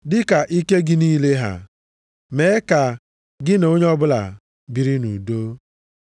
Dịka ike gị niile ha, mee ka gị na onye ọbụla biri nʼudo.